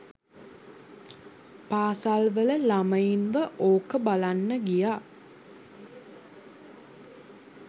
පාසල් වල ළමයින්ව ඕක බලන්න ගියා